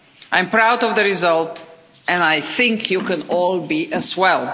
I am proud of the result and I think you can all be as well.